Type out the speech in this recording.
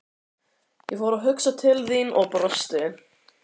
Ég fór að hugsa til þín og brosti.